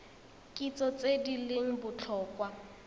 kitso tse di leng botlhokwa